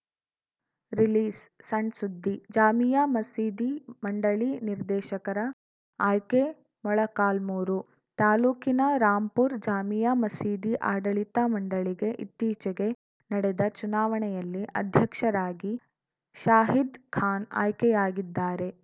release ಸಣ್‌ಸುದ್ದಿ ಜಾಮೀಯಾ ಮಸೀದಿ ಮಂಡಳಿ ನಿರ್ದೇಶಕರ ಆಯ್ಕೆ ಮೊಳಕಾಲ್ಮುರು ತಾಲೂಕಿನ ರಾಂಪುರ ಜಾಮೀಯಾ ಮಸೀದಿ ಆಡಳಿತ ಮಂಡಳಿಗೆ ಇತ್ತೀಚೆಗೆ ನಡೆದ ಚುನಾವಣೆಯಲ್ಲಿ ಅಧ್ಯಕ್ಷರಾಗಿ ಶಾಹೀದ್‌ ಖಾನ್‌ ಆಯ್ಕೆಯಾಗಿದ್ದಾರೆ